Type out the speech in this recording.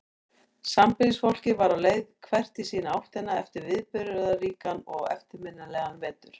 Sambýlisfólkið var á leið hvert í sína áttina eftir viðburðaríkan og eftirminnilegan vetur.